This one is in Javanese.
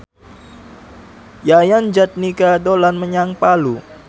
Yayan Jatnika dolan menyang Palu